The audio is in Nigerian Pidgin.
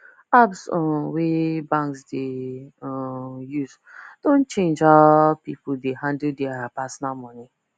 apps um wey banks dey um use don change how people dey handle their personal money